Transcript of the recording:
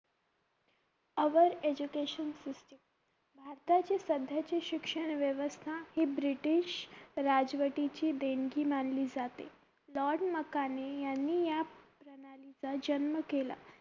our education system भारताची सध्याची शिक्षण व्यवस्था ही British राजवटी ची देणगी मानली जाते लार्ड मकौले यांनी या प्रणाली चा जन्म केला